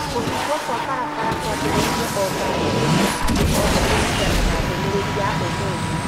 kũhingwo kwa barabara kwambĩrĩirie o ngari-inĩ cia andũ othe kũringana na ndũmĩrĩri ya ũmũthĩ